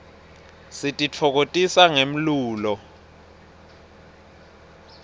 sititfokotisa ngemlulo